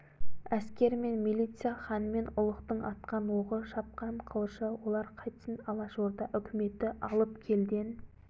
әскер мен милиция хан мен ұлықтың атқан оғы шапқан қылышы олар қайтсін алашорда үкіметі алып келден